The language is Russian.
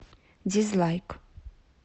дизлайк